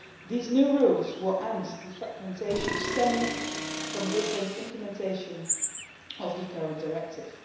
These new rules will end the fragmentation stemming from differences in implementation of the current directive.